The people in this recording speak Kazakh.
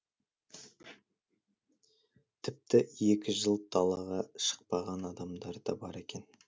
тіпті екі жыл далаға шықпаған адамдар да бар екен